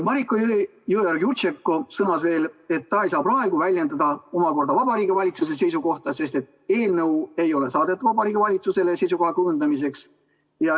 Mariko Jõeorg-Jurtšenko sõnas, et ta ei saa praegu väljendada Vabariigi Valitsuse seisukohta, sest eelnõu ei ole saadetud Vabariigi Valitsusele seisukoha kujundamiseks.